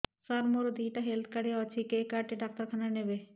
ସାର ମୋର ଦିଇଟା health card ଅଛି କେ କାର୍ଡ ଟି ଡାକ୍ତରଖାନା ରେ ନେବେ